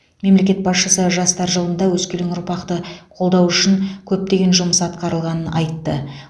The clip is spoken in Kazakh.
мемлекет басшысы жастар жылында өскелең ұрпақты қолдау үшін көптеген жұмыс атқарылғанын айтты